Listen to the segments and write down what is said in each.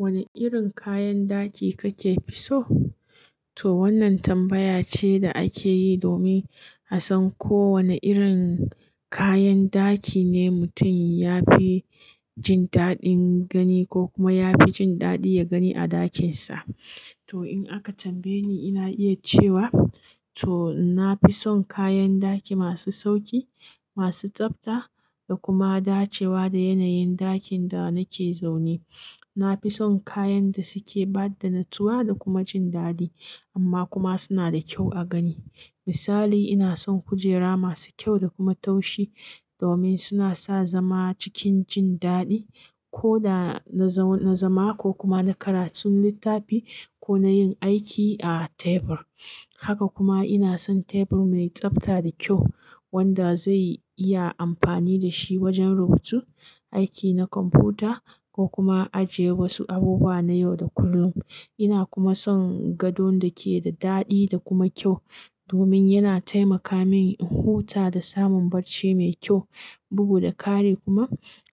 Wane irin kayan daki kake fi so? To wannan tambaya ce da ake yi domin a san ko wane irin kayan daki ne mutum ya fi jin daɗin gani ko kuma ya fi jin daɗi ya gani a ɗakinsa. To in aka tambaye ni, ina iya cewa to na fi son kayan daki masu sauƙi, masu tsabta da kuma dacewa da yanayin ɗakin da nake zaune. Na fi son kayan da suke bada natsuwa da kuma jin daɗi amma kuma suna da kyau a gani. Misali, ina son kujera masu kyau da kuma taushi domin suna sa zama cikin jin daɗi ko da na zama ko kuma na karatun littafi ko na yin aiki a tebur. Haka kuma ina son tebur mai tsabta da kyau wanda zai iya amfani da shi wajen rubutu, aiki na kwamfuta ko kuma ajiye wasu abubuwa na yau da kullum. Ina kuma son gadon da ke da daɗi da kuma kyau domin yana taimaka min in huta da samun barci mai kyau, bugu da kare kuma.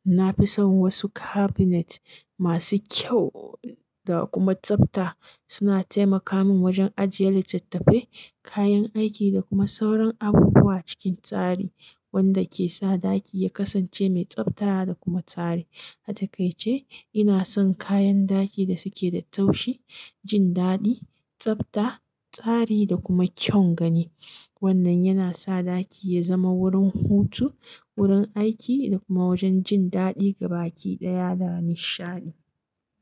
Na fi son wasu cabinet masu kyau da kuma tsabta. Suna taimaka min wajen ajiye littattafai, kayan aiki da kuma sauran abubuwa cikin tsari wanda ke sa ɗaki ya kasance mai tsabta da kuma tsari. A takaice ina son kayan daki da suke da taushi, jin daɗi, tsabta, tsari da kuma kyau gani. Wannan yana sa ɗaki ya zama wurin hutu, wurin aiki da kuma wajen jin daɗi ga baƙi ɗaya da nishadi.